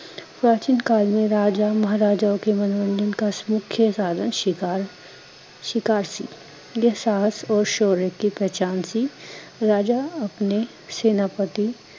ਪ੍ਰਾਚੀਨ ਕਾਲ ਮੇ ਰਾਜਾ ਮਹਰਾਜਾਂ ਕੇ ਮਨੋਰੰਜਨ ਕਾ ਸਮੁਖਯ ਸਾਧਨ ਸ਼ਿਕਾਰ ਸ਼ਿਕਾਰ ਸੀ, ਯੇ ਸਾਸ ਓਰ ਸ਼ੋਰੇ ਕੀ ਪਹਿਚਾਣ ਸੀ ਰਾਜਾ ਆਪਣੇ, ਸੈਨਾਪਤੀ